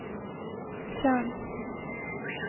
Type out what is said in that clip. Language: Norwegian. tjern